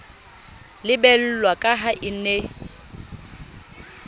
lebellwa ka ha e ne